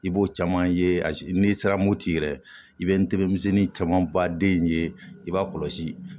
I b'o caman ye n'i sera mopiti yɛrɛ i bɛ ntɛmisɛnnin caman ba den ye i b'a kɔlɔsi